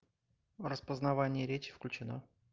распознавание речи включено